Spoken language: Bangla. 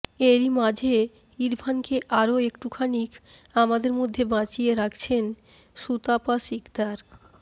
এরই মাঝে ইরফানকে আরও একটু খানিক আমাদের মধ্যে বাঁচিয়ে রাখছেন সুতাপা সিকদার